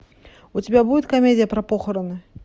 у тебя будет комедия про похороны